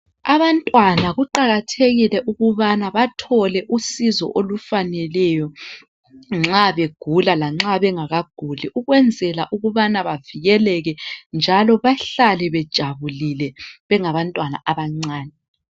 Abantwana kuqakathekile ukubana bathole usizo olufaneleyo nxa begula lanxa bengakaguli ukwenzela ukubana bavikeleke njalo bahlale bejabulile bengabantwana abancane.